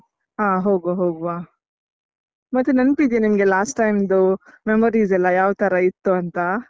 ಹಾ ಹೋಗ್ವಾ ಹೋಗುವ ಮತ್ತೆ ನೆನಪಿದ್ಯಾ ನಿಮ್ಗೆ last time memories ಯಾವ್ ತರ ಇತ್ತು ಅಂತಾ?